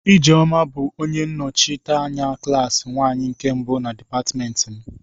Ijeoma bu onye nnochite anya klaasị nwanyi nke mbu na dipatịmentị m.